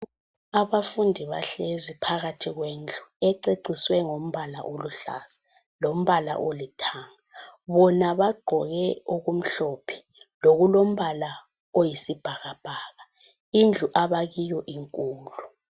Abafundi bahlezi phakathi kwendlu ececiswe ngombala oluhlaza lombala olithanga. Bona bagqoke okumhlophe lokulombala oyisibhakabhaka. Indlu abakiyo inkulu.